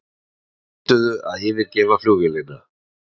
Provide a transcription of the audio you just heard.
Neituðu að yfirgefa flugvélina